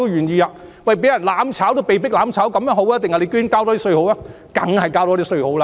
市民覺得被迫"攬炒"好，還是多交一點稅好呢？